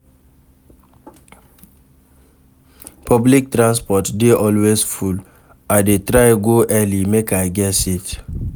Public transport dey always full, I dey try go early, make I get seat.